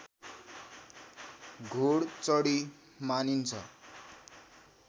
घोडचढी मानिन्छ